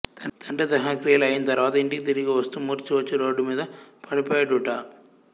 తండ్రి దహనక్రియలు అయింతరువాత యింటికి తిరిగి వస్తూ మూర్ఛ వచ్చి రోడ్డుమీద పడిపోయేడుట